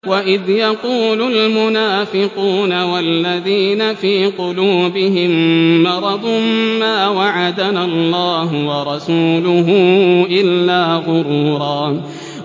وَإِذْ يَقُولُ الْمُنَافِقُونَ وَالَّذِينَ فِي قُلُوبِهِم مَّرَضٌ مَّا وَعَدَنَا اللَّهُ وَرَسُولُهُ إِلَّا غُرُورًا